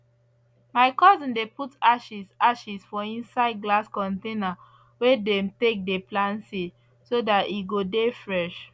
my cousin dey put ashes ashes for inside glass container wey dem take dey plant seed so that e go dey fresh